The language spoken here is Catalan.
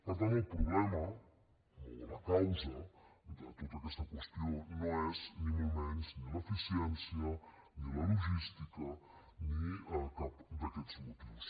per tant el problema o la causa de tota aquesta qüestió no és ni molt menys ni l’eficiència ni la logística ni cap d’aquests motius